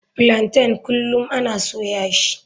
Plaintain kullum ana soya shi.